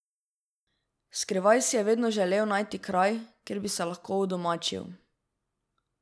Skrivaj si je vedno želel najti kraj, kjer bi se lahko udomačil.